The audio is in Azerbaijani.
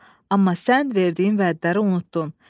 Amma sən verdiyin vədləri unutdun.